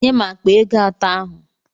Nye m akpa ego atọ ahu!